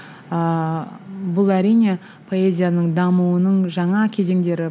ыыы бұл әрине поэзияның дамуының жаңа кезеңдері